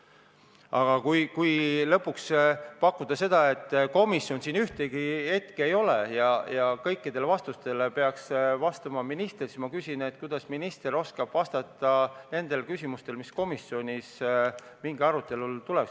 Aga kui pakkuda seda, et komisjoni esindaja siin puldis ühtegi hetke ei ole ja kõikidele küsimustele peaks vastama minister, siis ma küsin, kuidas minister oskab vastata küsimustele, mis komisjonis arutelule on tulnud.